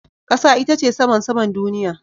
Kasa ita ce saman saman duniya.